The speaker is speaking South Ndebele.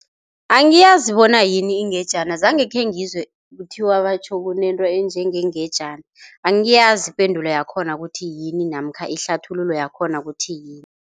Angiyazi bona yini ingejana zange khengizwe kuthiwa batjho kunento enjengengejana. Angiyazi ipendulo yakhona ukuthi yini, namkha ihlathululo yakhona ukuthi yini.